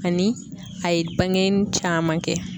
Ani a ye bange caman kɛ.